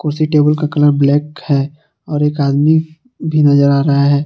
उसी टेबुल का colour black है और एक आदमी भी नजर आ रहा है।